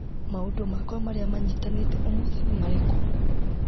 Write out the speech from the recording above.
Maũndũ makwa marĩa manyitanĩte ũmũthĩ nĩ marĩkũ.